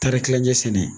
Taari kilancɛ sɛnɛ